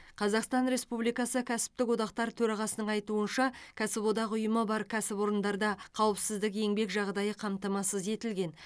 қазақстан республикасы кәсіптік одақтар төрағасының айтуынша кәсіподақ ұйымы бар кәсіпорындарда қауіпсіздік еңбек жағдайы қамтамасыз етілген